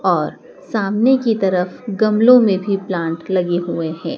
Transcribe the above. और सामने की तरफ गमलों में भी प्लांट लगे हुए हैं।